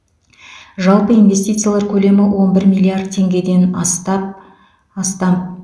жалпы инвестициялар көлемі он бір миллиард теңгеден астап астам